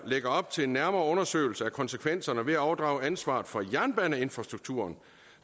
lægger op til en nærmere undersøgelse af konsekvenserne ved at overdrage ansvaret for jernbaneinfrastrukturen